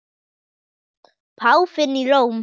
Páfinn í Róm.